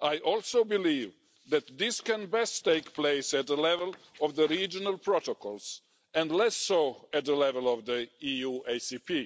I also believe that this can best take place at the level of the regional protocols and less so at the level of the EU-ACP.